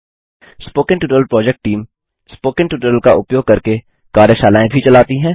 spoken tutorial project team spoken tutorial का उपयोग करके कार्यशालाएँ भी चलाती है